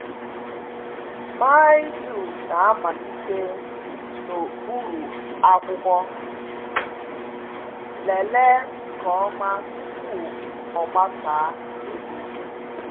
Mildew na-amalite n’okpuru akwụkwọ, lelee nke ọma tupu o gbasaa elu